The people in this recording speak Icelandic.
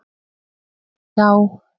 Nei já.